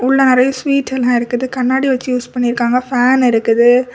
உள்ள நிறைய ஸ்வீட்டெல்லாம் இருக்குது கண்ணாடி வச்சு யூஸ் பண்ணி இருக்காங்க ஃபேன் இருக்குது.